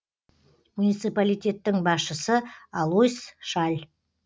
муниципалитеттің басшысы алойс шаль